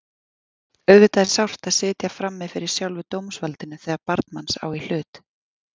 Auðvitað er sárt að sitja frammi fyrir sjálfu dómsvaldinu þegar barn manns á í hlut.